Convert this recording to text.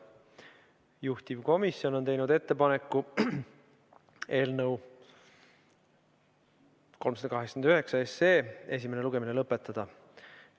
Juhtivkomisjon on teinud ettepaneku eelnõu 389 esimene lugemine lõpetada.